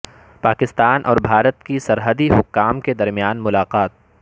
پاکستان اور بھارت کے سرحدی حکام کے درمیان ملاقات